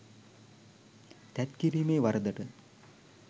තැත්කිරීමේ වරදට